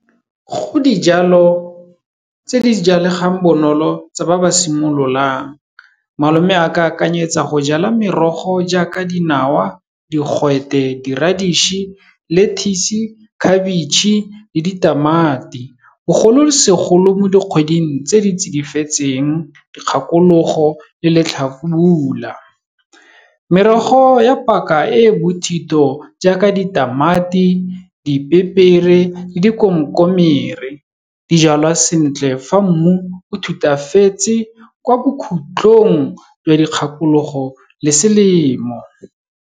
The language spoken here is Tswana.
Go dijalo tse di jalegang bonolo tsa ba ba simololang. Malome a ka akanyetsa go jala merogo jaaka dinawa, digwete, di-reddish, lettuce-e, khabetšhe le ditamati. Bogolosegolo mo dikgweding tse di tsidifetseng, dikgakologo le letlhabula. Merogo ya paka e e bothito jaaka ditamati, dipepere le dikomkomere. Dijalwa sentle fa mmu o thutafatse kwa bokhutlong jwa dikgakologo le selemo.